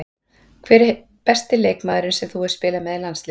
Hver er besti leikmaðurinn sem þú hefur spilað með í landsliðinu?